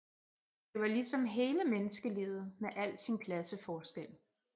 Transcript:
Det var ligesom hele Menneskelivet med al sin Klasseforskjel